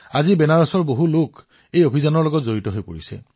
আজি বাৰাণসীৰ বহুতো ঘৰে এই অভিযানত যোগদান কৰিছে